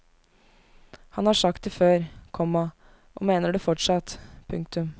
Han har sagt det før, komma og mener det fortsatt. punktum